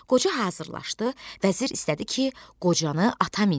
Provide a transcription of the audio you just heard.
Qoca hazırlaşdı, vəzir istədi ki, qocanı ata mindirə.